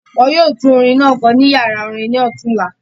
Wọn yoo tun orin naa kọ ni yara orin ni ọtunọla